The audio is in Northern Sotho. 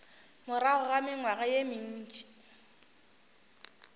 morago ga mengwaga ye mentši